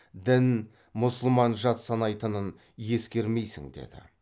дін мұсылман жат санайтынын ескермейсің деді